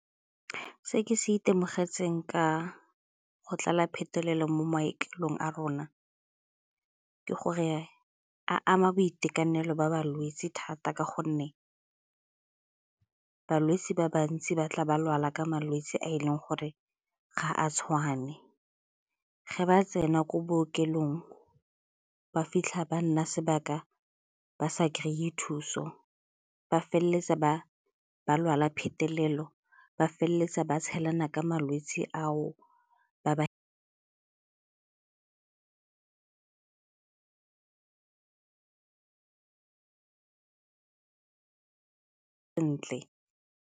Se ke se itemogetseng ka go tlala phetelelo mo marekelong a rona ke gore a ama boitekanelo ba balwetse thata ka gonne balwetse ba bantsi ba tla ba lwala ka malwetse a e leng gore ga a tshwane. Ge ba tsena ko bookelong ba fitlha ba nna sebaka ba sa kry-e thuso, ba feleletsa ba lwala phetelelo, ba feleletsa ba tshelana ka malwetse ao ba ba ntle.